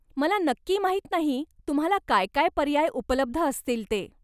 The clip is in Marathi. मला नक्की माहीत नाही तुम्हाला काय काय पर्याय उपलब्ध असतील ते.